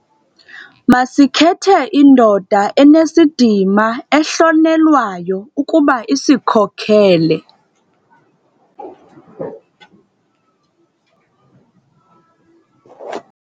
Masikhethe indoda enesidima ehlonelwayo ukuba isikhokele.